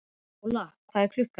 Njóla, hvað er klukkan?